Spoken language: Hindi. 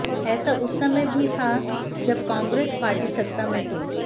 ऐसा उस समय भी था जब कांग्रेस पार्टी सत्ता में थी